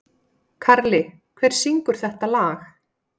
Karli, hver syngur þetta lag?